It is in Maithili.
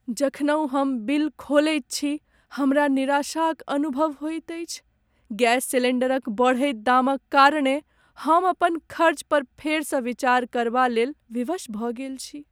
जखनहुँ हम बिल खोलैत छी, हमरा निराशाक अनुभव होइत अछि। गैस सिलिण्डरक बढ़ैत दामक कारणेँ हम अपन खर्चपर फेरसँ विचार करबालेल विवश भऽ गेल छी।